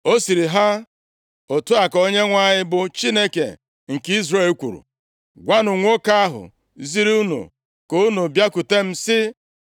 Ọ sịrị ha, “Otu a ka Onyenwe anyị bụ Chineke nke Izrel kwuru: Gwanụ nwoke ahụ ziri unu ka unu bịakwutem, sị,